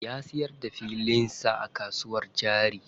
Ya siyar da filin sa a kasuwar jari.